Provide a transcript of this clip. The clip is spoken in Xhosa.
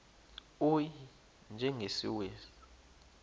u y njengesiwezi